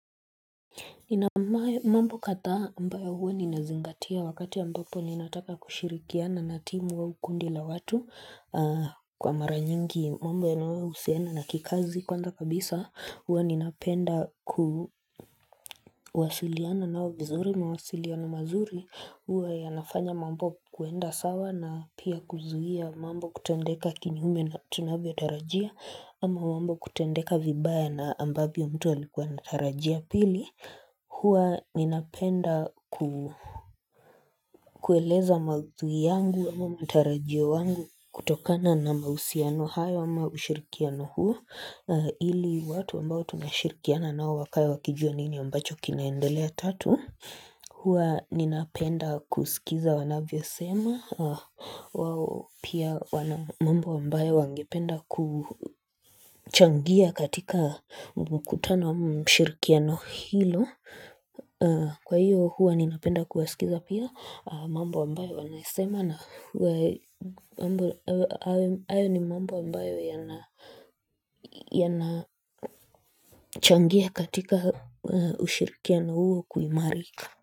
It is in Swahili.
Inapomae mambo kadhaa ambayo huwa ninazingatia wakati ambapo ninataka kushirikiana na timu wa ukundi la watu Kwa mara nyingi mambo yanayohusiana na kikazi kwanza kabisa huwa ninapenda kuwasiliana nao vizuri mawasiliano mazuri huwa yanafanya mambo kuenda sawa na pia kuzuia mambo kutendeka kinyume na tunavyo tarajia Ama mambo kutendeka vibaya na ambavyo mtu alikuwa natarajia pili huwa ninapenda kueleza maudhui yangu ama mtarajio yangu kutokana na mausiano hayo ama ushirikiano huo ili watu ambao tunashirikiana nao wakae wakijua nini ambacho kinaendelea tatu huwa ninapenda kusikiza wanavyo sema Pia wana mambo ambayo wangependa kuchangia katika mkutano ama ushirikiano hilo Kwa hiyo huwa ninapenda kuwasikiza pia mambo ambayo wanasema na huwa mambo ambayo yanachangia katika ushirikiano huo kuimarika.